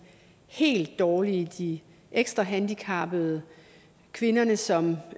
helt dårlige de ekstra handicappede kvinderne som